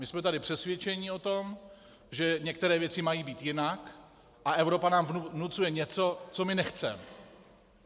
My jsme tady přesvědčeni o tom, že některé věci mají být jinak, a Evropa nám vnucuje něco, co my nechceme.